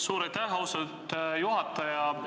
Suur aitäh, austatud juhataja!